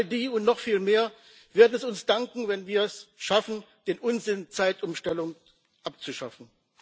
All die und noch viel mehr werden es uns danken, wenn wir es schaffen, den Unsinn Zeitumstellung abzuschaffen.